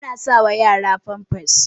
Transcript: ana sawa yara famfas